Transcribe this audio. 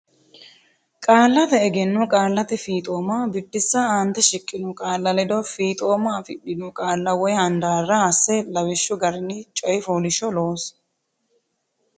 Qaallate Egenno Qaallate Fiixooma Biddissa Aante shiqqino qaalla ledo fiixooma afidhino qaalla woy handaarra hasse lawishshu garinni coy fooliishshuwa loosi.